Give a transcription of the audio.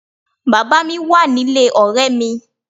Bàbá mi wà nílé ọ̀rẹ́ mi